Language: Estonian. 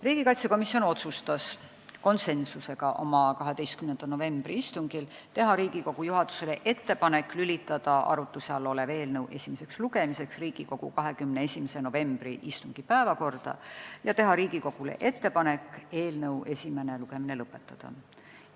Riigikaitsekomisjon otsustas konsensusega oma 12. novembri istungil teha Riigikogu juhatusele ettepaneku lülitada arutuse all olev eelnõu esimeseks lugemiseks Riigikogu 21. novembri istungi päevakorda ja teha Riigikogule ettepaneku eelnõu esimene lugemine lõpetada.